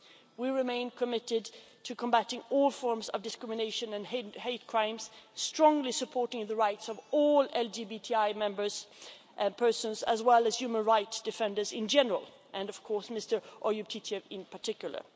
We remain committed to combating all forms of discrimination and hate crime, strongly supporting the rights of all LGBTI persons as well as human rights defenders in general, and of course Mr Oyub Titiev in particular.